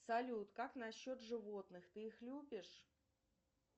салют как насчет животных ты их любишь